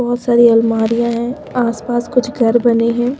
बहुत सारी अलमारियां हैं आसपास कुछ घर बने हैं।